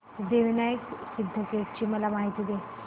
सिद्धिविनायक सिद्धटेक ची मला माहिती दे